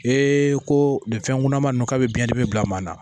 Ee ko nin fɛnkunaman nu k'a bɛ biɲɛ dimi bila maa na